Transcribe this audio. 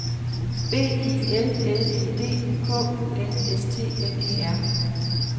B I L L E D K U N S T N E R